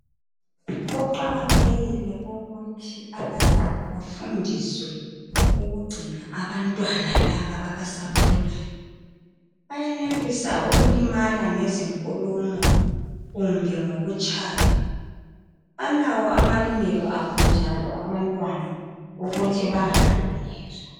Kuqakathekile ukuthi abazali bafundiswe ukugcina abantwana laba abasakhulayo .Bayenelisa ukulimala ngezinkulumo kumbe ngokutshaywa ,balawo amalungelo abo njalo abantwana ukuthi bangahlukunyezwa.